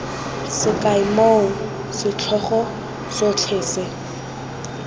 sekai moo setlhogo sotlhe se